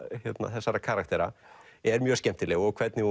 þessara karaktera er mjög skemmtileg og hvernig